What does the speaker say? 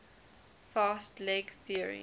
fast leg theory